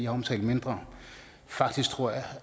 har omtalt mindre faktisk tror jeg